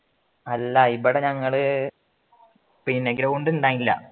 അല്ല ഇവിടെ ഞങ്ങള് ground ഉണ്ടായില്ല